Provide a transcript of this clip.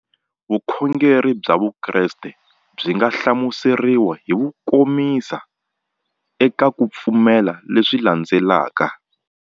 Vukhongeri bya Vukreste byi nga hlamuseriwa hi kukomisa eka ku pfumela leswi landzelaka.